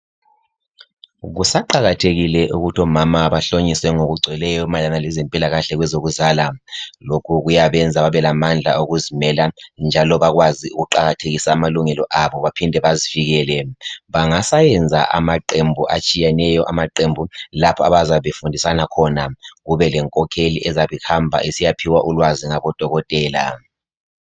Kusaqakathekile ukuthi omama bahlonyiswe ngokugcweleyo mayelana lezempilakahle kwezokuzala, lokho kuyabenza babelamandla oku zimela njalo bakwazi ukuqakathekisa amalungelo abo baphinde bazivikele bangasayenza amaqembu atshiyeneyo, amaqembu lapho abazabe befundisana khona kubelenkokheli ezabe ihamba isiyaphiwa ulwazi ngabodokotela.